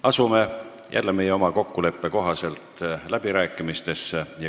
Asume – jälle meie oma kokkuleppe kohaselt – läbirääkimiste juurde.